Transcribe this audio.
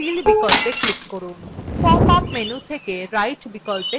pop up menu থেকে right বিকল্পে click করুন